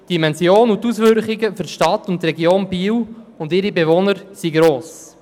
Die Dimension und die Auswirkungen auf die Stadt Biel und ihre Bewohner sind gross.